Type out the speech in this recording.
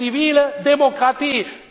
Die wollen die zivile Demokratie.